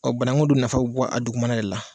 banaku dun nafa bɛ bɔ a dugumana de la.